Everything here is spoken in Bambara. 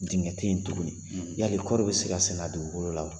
Dɛngɛ teyi tuguni yali kɔɔri bɛ se ka sɛnɛ a dugukolo la wa?